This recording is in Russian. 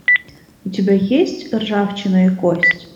у тебя есть ржавчина и кость